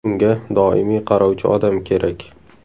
Unga doimiy qarovchi odam kerak.